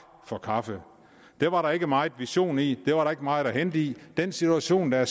for kaffe det var der ikke meget vision i det var der ikke meget at hente i den situation der er